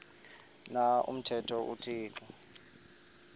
na umthetho uthixo